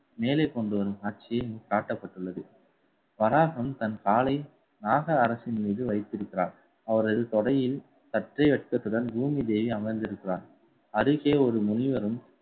மேலே கொண்டு வரும் காட்சி காட்டப்பட்டுள்ளது வராகம் தன் காலை நாக அரசின் மீது வைத்திருக்கிறார். அவரது தொடையில் சற்றை அச்சத்துடன் பூமி தேவி அமர்ந்திருக்கிறாள். அருகே ஒரு முனிவரும்